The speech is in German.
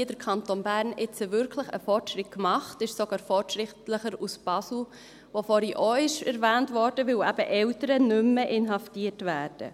Hier hat der Kanton Bern jetzt wirklich einen Fortschritt gemacht, ist sogar fortschrittlicher als Basel, das vorhin auch erwähnt wurde, weil eben Eltern nicht mehr inhaftiert werden.